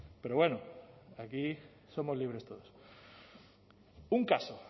pero bueno aquí somos libres todos un caso